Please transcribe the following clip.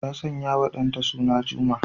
Ta sanyawa ɗanta suna Juma.